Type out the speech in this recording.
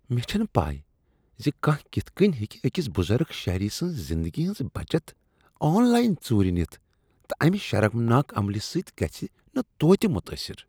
مےٚ چھنہٕ پَے ز کانٛہہ کتھ کٔنۍ ہیکِہ أکس بزرگ شہری سٕنٛز زندگی ہٕنز بچت آن لاین ژوٗرِ نِتھ تہٕ امہ شرمناک عملہٕ سۭتۍ گژِھہٕ نہٕ توتہِ متٲثر۔